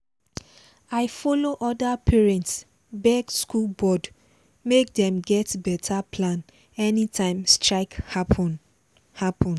i follow other parents beg school board make dem get better plan anytime strike happen. happen.